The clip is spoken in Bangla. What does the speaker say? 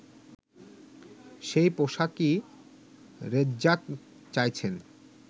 সেই পোশাকই রেজ্জাক চাইছেন